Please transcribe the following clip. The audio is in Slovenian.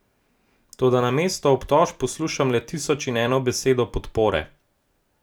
Toda namesto obtožb poslušam le tisoč in eno besedo podpore.